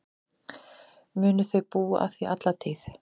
Munu þau búa að því alla tíð.